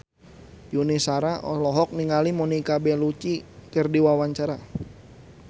Yuni Shara olohok ningali Monica Belluci keur diwawancara